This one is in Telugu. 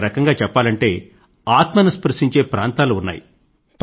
ఒకరకంగా చెప్పాలంటే ఆత్మను స్పృశించే ప్రాంతాలు ఉన్నాయి